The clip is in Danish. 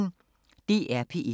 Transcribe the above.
DR P1